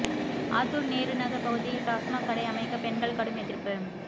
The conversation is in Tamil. ஆத்தூர் நேருநகர் பகுதியில் டாஸ்மாக் கடை அமைக்க பெண்கள் கடும் எதிர்ப்பு